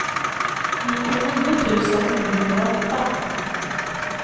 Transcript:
nittionio tusen niohundraåtta